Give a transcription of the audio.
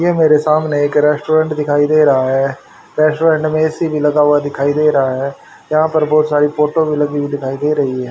ये मेरे सामने एक रेस्टोरेंट दिखाई दे रहा है रेस्टोरेंट में ए_सी भी लगा दिखाई दे रहा है यहां बहोत सारी फोटो भी लगी दिखाई दे रही हैं।